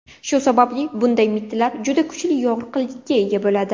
Shu sababli bunday mittilar juda kuchli yorqinlikka ega bo‘ladi.